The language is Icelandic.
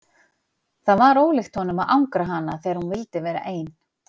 Það var ólíkt honum að angra hana þegar hún vildi vera ein.